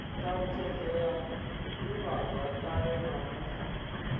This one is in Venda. thalutshedzo ya divhazwakale na vhufa